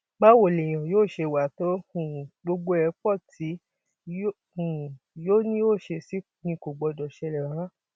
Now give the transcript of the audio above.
báwo lèèyàn yóò ṣe wàá to um gbogbo ẹ pọ tí um yóò ní ó ṣèèṣì ni kò gbọdọ ṣẹlẹ rárá